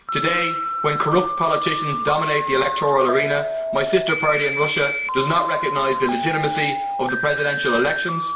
Today, when corrupt politicians dominate the electoral arena, my sister party in Russia does not recognise the legitimacy of the presidential elections.